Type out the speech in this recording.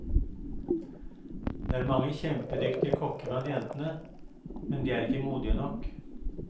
Det er mange kjempedyktige kokker blant jentene, men de er ikke modige nok.